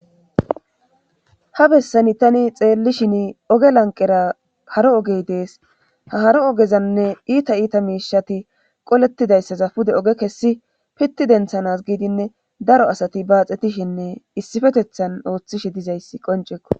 ha bessani tani xeelli shin oge lanqera haro ogey dees ha haro ogezanne iita iita miishati qolettidayssaza pude oge kessi pitti denthanas giidinne daro asati baaxetishenne issifetethan ooththishe dizayssi qoncekko